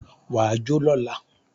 Wà á jó lọla!